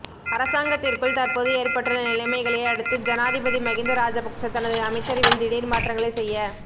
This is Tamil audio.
அரசாங்கத்திற்குள் தற்போது ஏற்பட்டுள்ள நிலைமைகளை அடுத்து ஜனாதிபதி மகிந்த ராஜபக்ஷ தனது அமைச்சரவையில் திடீர் மாற்றங்களை செய்ய